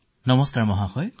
নমস্কাৰ নীতেশ মহোদয়